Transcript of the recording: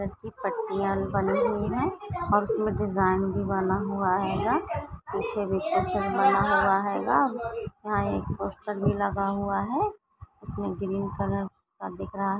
इसकी पट्टिया बनी हुई है और उसमे डिज़ाइन भी बना हुआ हेंगा पीछे डिक्टैशन बना हुआ हेंगा यंहा एक पोस्टर भी लगा हुवा हे जिसमे ग्रीन कलर का दिख रहा है।